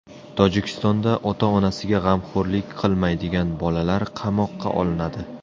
Tojikistonda ota-onasiga g‘amxo‘rlik qilmaydigan bolalar qamoqqa olinadi.